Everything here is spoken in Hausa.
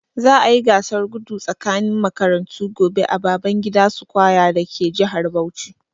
Za'a yi gasar gudu tsakanin makarantu gobe a Babangida square dake jihar Bauchi.